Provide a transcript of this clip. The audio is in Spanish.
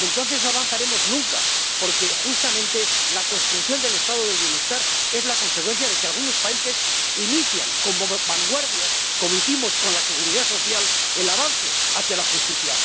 Pero entonces no avanzaremos nunca, porque justamente la construcción del Estado del bienestar es la consecuencia de que algunos países inician como vanguardias, como hicimos con la seguridad social, el avance hacia la justicia.